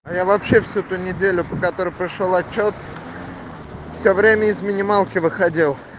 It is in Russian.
а я вообще всю ту неделю по который пришёл отчёт все время из минималки выходил